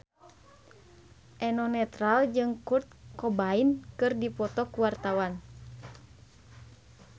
Eno Netral jeung Kurt Cobain keur dipoto ku wartawan